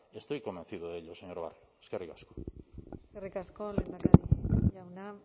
estoy convencido de ello señor barrio eskerrik asko eskerrik asko lehendakari jauna